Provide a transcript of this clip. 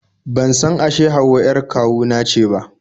Ban san ashe Hauwa 'yar kawu na ce ba